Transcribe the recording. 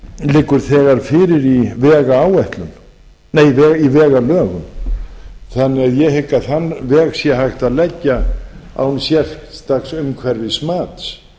liggur þegar fyrir í vegalögum þannig að ég hygg að þann veg sé hægt að leggja án sérstaks umhverfismats